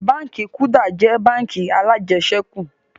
Báńkì "Kuda" jẹ́ báńkì alajẹsẹ́kù